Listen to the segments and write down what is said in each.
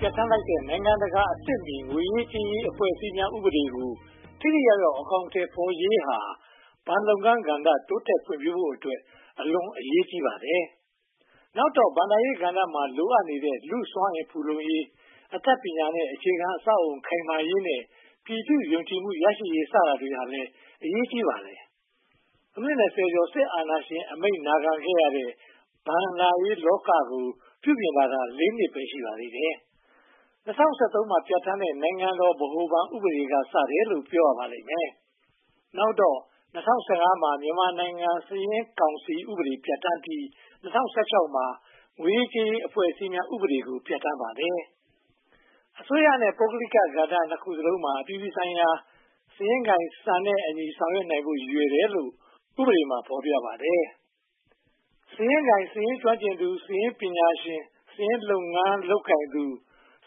ပြဌာန်းလိုက်တဲ့ နိုင်ငံတကာအဆင့်မီ ငွေရေးကြေးရေး အဖွဲ့အစည်းများ ဥပဒေကို ထိထိရောက်ရောက် အကောင်အထည်ဖော်ရေးဟာ ဘဏ်လုပ်ငန်းကဏ္ဍ တိုးတက်ဖွံ့ဖြိုးဖို့အတွက် အလွန်အရေးကြီးပါတယ်။ နောက်တော့ ဘဏ္ဍာရေးကဏ္ဍမှာ လိုအပ်နေတဲ့ လူ့စွမ်းအင်ဖူလုံရေး၊ အတတ်ပညာနဲ့ အခြေခံအဆောက်အအုံ ခိုင်မာရေးနဲ့ ပြည်သူ့ယုံကြည်မှုရရှိရေး စတာတွေဟာလည်း အရေးကြီးပါတယ်။ အနှစ် (၂၀) ကျော် စစ်အာဏာရှင်အမိန့် နာခံခဲ့ရတဲ့ ဘဏ္ဍာရေးလောကကို ပြုပြင်လာတာ (၄) နှစ်ပဲ ရှိပါသေးတယ်။ ၂၀၁၃ မှာ ပြဌာန်းတဲ့ နိုင်ငံတော် ဗဟိုဘဏ်ဥပဒေက စတယ်လို့ ပြောရပါလိမ့်မယ်။ နောက်တော့ ၂၀၁၅ မှာ မြန်မာနိုင်ငံစာရင်းကောင်စီဥပဒေ ပြဌာန်းပြီး ၂၀၁၆ မှာ ငွေရေးကြေးရေး အဖွဲ့အစည်းများ ဥပဒေကို ပြဌာန်းပါတယ်။ အစိုးရနဲ့ ပုဂ္ဂလိက ကဏ္ဍနှစ်ခုစလုံးမှာ အပြည်ပြည်ဆိုင်ရာ စာရင်းကိုင်စံ၊ စာရင်းစစ်စံနဲ့အညီ ဆောင်ရွက်နိုင်ဖို့ ရည်ရွယ်တယ်လို့ ဥပဒေမှာ ဖော်ပြပါတယ်။ စာရင်းကိုင်၊ စာရင်းကျွမ်းကျင်သူ၊ စာရင်းပညာရှင်၊ စာရင်းလုပ်ငန်းလုပ်ကိုင်သူ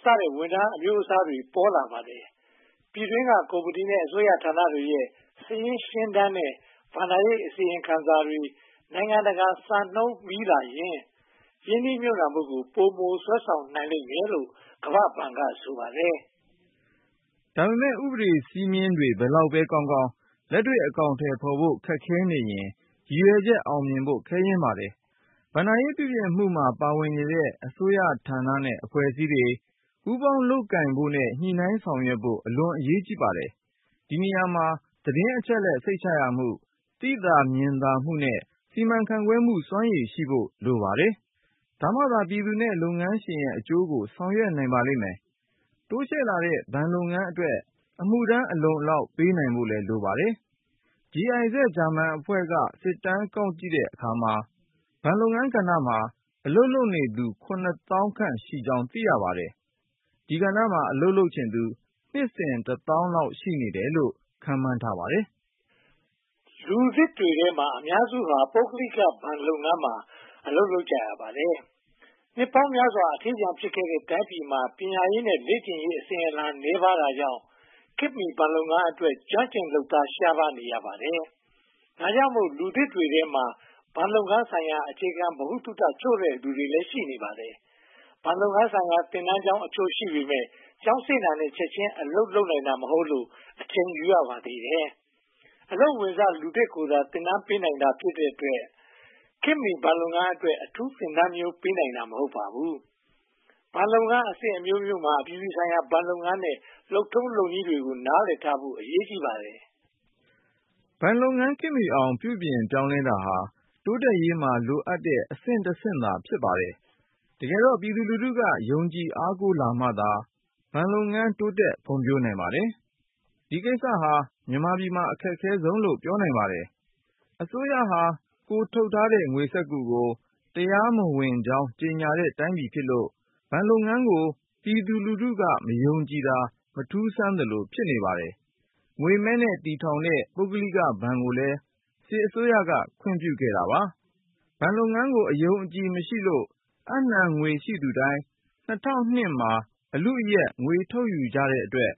စတဲ့ ဝန်ထမ်းအမျိုးအစားတွေ ပေါ်လာပါတယ်။ ပြည်တွင်းက ကုမ္ပဏီနဲ့ အစိုးရဌာနတွေရဲ့ စာရင်းရှင်းတမ်းနဲ့ ဘဏ္ဍာရေးအစီရင်ခံစာတွေ နိုင်ငံတကာစံနှုန်းမီလာရင် ရင်းနှီးမြုပ်နံှမှုကို ပိုမိုဆွဲဆောင်နိုင်မယ်လို့ ကမ္ဘာ့ဘဏ်က ဆိုပါတယ်။ ဒါပေမဲ့ ဥပဒေ စည်းမျဉ်းတွေ ဘယ်လောက်ပဲကောင်းကောင်း လက်တွေ့အကောင်အထည်ဖော်ဖို့ ခက်ခဲနေရင် ရည်ရွယ်ချက် အောင်မြင်ဖို့ ခဲယဉ်းပါတယ်။ ဘဏ္ဍာရေး ပြုပြင်မှုမှာ ပါဝင်နေတဲ့ အစိုးရဌာနနဲ့ အဖွဲ့အစည်းတွေ ပူးပေါင်းလုပ်ကိုင်နိုင်ဖို့နဲ့ ညှိနှိုင်းဆောင်ရွက်နိုင်ဖို့ အလွန်အရေးကြီးပါတယ်။ ဒီနေရာမှာ သတင်းအချက်အလက် စိတ်ချရမှု၊ သိသာမြင်သာမှုနဲ့ စီမံခန့်ခွဲမှု စွမ်းရည်ရှိဖို့ လိုပါတယ်။ ဒါမှသာ ပြည်သူနဲ့ လုပ်ငန်းရှင်ရဲ့အကျိုးကို ဆောင်ရွက်နိုင်ပါလိမ့်မယ်။ တိုးချဲ့လာတဲ့ ဘဏ်လုပ်ငန်းအတွက် အမှုထမ်း အလုံအလောက်ပေးနိုင်ဖို့ လိုပါတယ်။ GIZ ဂျာမန်အဖွဲ့က စစ်တမ်းကောက်ကြည့်တဲ့အခါမှာ ဘဏ်လုပ်ငန်းကဏ္ဍမှာ အလုပ်လုပ်နေသူ (၇၀,၀၀၀) ခန့်ရှိကြောင်း သိရပါတယ်။ ဒီကဏ္ဍမှာ အလုပ်လုပ်ချင်သူ နှစ်စဉ်တသောင်းလောက် ရှိနေတယ်လို့ ခန့်မှန်းထားပါတယ်။ လူသစ်တွေထဲမှာ အများစုဟာ ပုဂ္ဂလိကဘဏ်လုပ်ငန်းမှာ အလုပ်ရကြပါတယ်။ နှစ်ပေါင်းများစွာ အထီးကျန်ဖြစ်ခဲ့တဲ့ တိုင်းပြည်မှာ ပညာရေးနဲ့ လေ့ကျင့်ရေးအစဉ်အလာ နည်းပါးတာကြောင့် ခေတ်မီဘဏ်လုပ်ငန်းအတွက် ကျွမ်းကျင်လုပ်သား ရှားပါးနေရပါတယ်။ ဒါကြောင့်မို့ လူသစ်တွေထဲမှာ ဘဏ်လုပ်ငန်းဆိုင်ရာ အခြေခံဗဟုသုတ ချို့တဲ့သူတွေလည်း ရှိပါတယ်။ ဘဏ်လုပ်ငန်းဆိုင်ရာ သင်တန်းကျောင်းအချို့ ရှိပေမယ့် ကျောင်းဆင်းတာနဲ့ ချက်ချင်းအလုပ်လုပ်နိုင်တာ မဟုတ်လို့ အချိန်ယူရပါသေးတယ်။ အလုပ်ဝင်စ လူသစ်ကိုသာ သင်တန်းပေးနိုင်တာ ဖြစ်တဲ့အတွက် ခေတ်မီဘဏ်လုပ်ငန်းအတွက် အထူးသင်တန်းမျိုး ပေးနိုင်တာ မဟုတ်ပါဘူး။ ဘဏ်လုပ်ငန်းအဆင့်အမျိုးမျိုးမှာ အပြည်ပြည်ဆိုင်ရာ ဘဏ်လုပ်ငန်းရဲ့ လုပ်ထုံးလုပ်နည်းတွေကို နားလည်ထားဖို့လည်း အရေးကြီးပါတယ်။ ဘဏ်လုပ်ငန်းခေတ်မီအောင် ပြုပြင်ပြောင်းလဲတာဟာ တိုးတက်ရေးမှာ လိုအပ်တဲ့အဆင့်တဆင့်သာ ဖြစ်ပါတယ်။ တကယ်တော့ ပြည်သူလူထုက ယုံကြည်အားကိုးလာမှသာ ဘဏ်လုပ်ငန်း တိုးတက်ဖွံ့ဖြိုးနိုင်ပါတယ်။ ဒီကိစ္စဟာ မြန်မာပြည်မှာ အခက်ခဲဆုံးလို့ ပြောနိုင်ပါတယ်။ အစိုးရဟာ ကိုယ်ထုတ်ထားတဲ့ ငွေစက္ကူကို တရားမဝင်ကြောင်း ကြေညာတဲ့တိုင်းပြည်ဖြစ်လို့ ဘဏ်လုပ်ငန်းကို ပြည်သူက မယုံကြည်တာ မထူးဆန်းသလို ဖြစ်နေပါတယ်။ ငွေမဲနဲ့ တည်ထောင်တဲ့ ပုဂ္ဂလိကဘဏ်ကိုလည်း စစ်အစိုးရက ခွင့်ပြုပါတယ်။ ဘဏ်လုပ်ငန်းကို အယုံအကြည်မရှိလို့ အပ်နံှငွေရှိသူတိုင်း ၂၀၀၂ မှာ အလုအယက် ငွေထုတ်ယူကြတဲ့အတွက်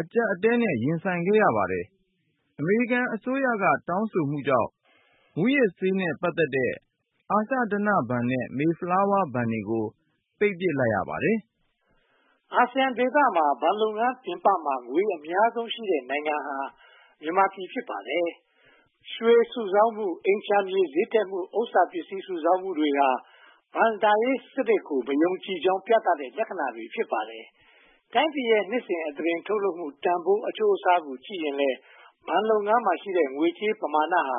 အကျပ်အတည်းနဲ့ ရင်ဆိုင်ရပါတယ်။ အမေရိကန်အစိုးရ တောင်းဆိုမှုကြောင့် မူးယစ်ဆေးနဲ့ ပတ်သက်တဲ့ အာရှဓနဘဏ်နဲ့ Mayflower ဘဏ်တွေကို ပိတ်လိုက်ရပါတယ်။ အာဆီယံဒေသမှာ ဘဏ်လုပ်ငန်းပြင်ပမှာ ငွေအများဆုံးရှိတဲ့နိုင်ငံဟာ မြန်မာပြည် ဖြစ်ပါတယ်။ ရွှေစုဆောင်းမှု၊ အိမ်ခြံမြေ ဈေးတက်မှု၊ ဥစ္စာပစ္စည်း စုဆောင်မှုတွေဟာ ဘဏ္ဍာရေးစနစ်ကို မယုံကြည်ကြောင်း ပြသတဲ့လက္ခဏာတွေ ဖြစ်ပါတယ်။ တိုင်းပြည်ရဲ့ နှစ်စဉ်အသားတင် ထုတ်လုပ်မှုတန်းဖိုး အချိုးအစားနဲ့ ကြည့်ရင်လည်း ဘဏ်လုပ်ငန်းမှာရှိတဲ့ ငွေကြေးပမာဏဟာ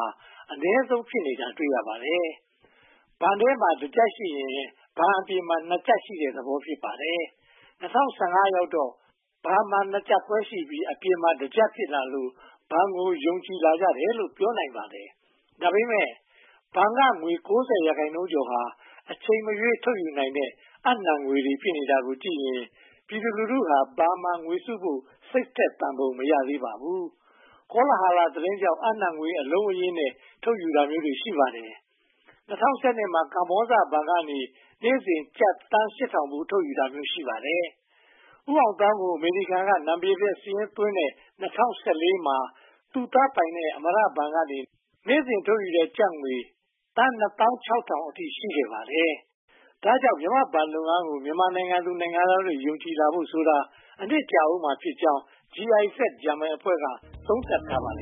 အနည်းဆုံး ဖြစ်နေတာကို တွေ့ရပါတယ်။ ဘဏ်ထဲမှာ တကျပ်ရှိရင် ဘဏ်အပြင်မှာ နှစ်ကျပ်ရှိတဲ့သဘော ဖြစ်ပါတယ်။ ၂၀၁၅ ရောက်တော့ ဘဏ်မှာ နှစ်ကျပ်ခွဲရှိပြီး အပြင်မှာ တကျပ် ဖြစ်လာလို့ ဘဏ်ကို ယုံကြည်လာကြတယ်လို့ ပြောနိုင်ပါတယ်။ ဒါပေမဲ့ ဘဏ်က ငွေ (၉၀) ရာခိုင်နှုန်းကျော်ဟာ အချိန်မရွေး ထုတ်ယူနိုင်တဲ့ အပ်နံှငွေတွေ ဖြစ်နေတာကြည့်ရင် ပြည်သူလူထုဟာ ဘဏ်မှာ ငွေစုဖို့ စိတ်ထက်သန်ပုံ မရသေးပါဘူး။ ကောလဟာလ သတင်းတွေကြောင့် အပ်နံှငွေ အလုံးအရင်းနဲ့ ထုတ်ယူတာမျိုးတွေ ရှိပါတယ်။ ဦးအောင်သောင်းကို အမေရိကန်မှာ နာမည်ပျက်စာရင်းသွင်းတဲ့ ၂၀၁၄ မှာ သူ့သားပိုင်တဲ့ အမရဘဏ်ကနေ နေ့စဉ်ထုတ်တဲ့ကျပ်ငွေ သန်းနှစ်သောင်းခြောက်ထောင်အထိ ရှိခဲ့ပါတယ်။ ဒါကြောင့် မြန်မာ့ဘဏ်လုပ်ငန်းကို မြန်မာနိုင်ငံသူ နိုင်ငံသားတွေ ယုံကြည်လာဖို့ဆိုတာ အချိန်ကြာဦးမှာ ဖြစ်ကြောင်း GIZ ဂျာမန်အဖွဲ့က သုံးသပ်ထားပါတယ်